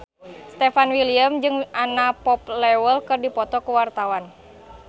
Stefan William jeung Anna Popplewell keur dipoto ku wartawan